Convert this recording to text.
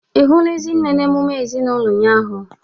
Ị hụla Ezinne na emume ezinụlọ ụnyaahụ?